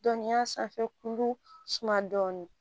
Dɔnniya sanfɛ kulu suma dɔɔni